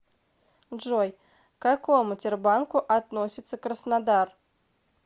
джой к какому тербанку относится краснодар